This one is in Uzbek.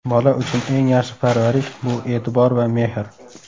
Bola uchun eng yaxshi parvarish bu e’tibor va mehr.